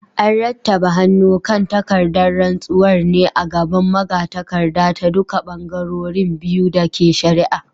An rattaba hannu kan takardar rantsuwar ne a gaban magatakardar ta duka bangarorin biyu da ke shari’ar.